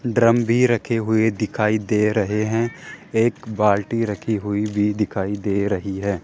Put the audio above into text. Drum भी रखे हुए दिखाई दे रहे हैं एक बाल्टी रखी हुई भी दिखाई दे रही है।